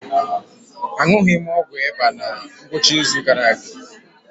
Aṅụghị m ọgwụ ịba na ngwụcha izu gara aga.